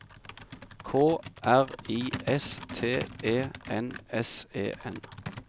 K R I S T E N S E N